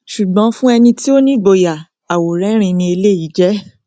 ṣùgbọn fún ẹni tí ó ní ìgboyà àwòrẹrìín ni eléyìí jẹ